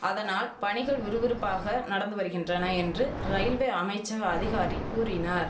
அதனால் பணிகள் விறுவிறுப்பாக நடந்து வரிகின்றன என்று ரயில்வே அமைச்சக அதிகாரி கூறினார்